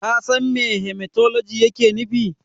Ka san me Hematologi yake nufi?